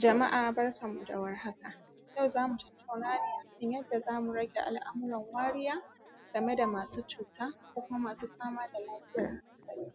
Jama’a barkanmu da war haka yau zamu tattauna ne akan yadda zamu rage al’amuran wariya game masu cuta ko kuma masu fama da lafiyar hankali.